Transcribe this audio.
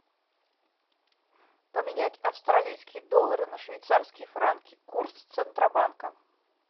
поменять австралийские доллары на швейцарские франки курс центробанка